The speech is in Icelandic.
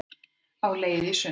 Á leið í sund